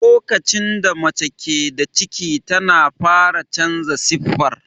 Lokacin da mace ke da ciki ta fara canza siffar.